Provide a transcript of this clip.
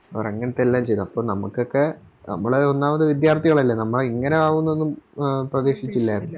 അവരങ്ങത്തെല്ലാം ചെയ്തു അപ്പൊ നമുക്കൊക്കെ നമ്മള് ഒന്നാമത് വിദ്യാർത്ഥികളല്ലേ നമ്മള് ഇങ്ങനെ ആവുന്നോന്നും പ്രധീക്ഷിച്ചില്ലാരുന്നു